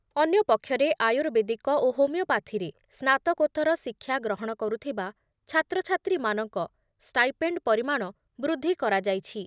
ଅନ୍ୟ ପକ୍ଷରେ, ଆୟୁର୍ବେଦିକ ଓ ହୋମିଓପାଥିରେ ସ୍ନାତକୋତ୍ତର ଶିକ୍ଷା ଗ୍ରହଣ କରୁଥିବା ଛାତ୍ରଛାତ୍ରୀମାନଙ୍କ ଷ୍ଟାଇପେଣ୍ଡ ପରିମାଣ ବୃଦ୍ଧି କରାଯାଇଛି